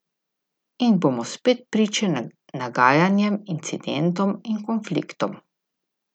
In bomo spet priče nagajanjem, incidentom in konfliktom.